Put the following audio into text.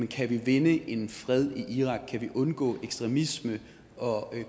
kan vi vinde en fred i irak kan vi undgå ekstremisme og